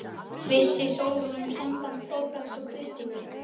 Vissi Sólrún um samband Þórbergs og Kristínar?